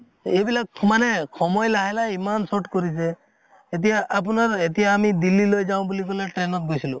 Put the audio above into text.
এইবিলাক সমানে সময় লাহে লাহে ইমান short কৰিছে এতিয়া আপোনাৰ এতিয়া আমি দিল্লী লৈ যাওঁ বুলি কলে train অত গৈছিলো